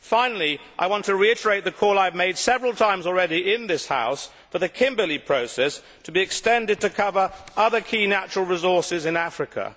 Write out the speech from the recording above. Finally, I want to reiterate the call I have made several times already in this House for the Kimberley Process to be extended to cover other key natural resources in Africa.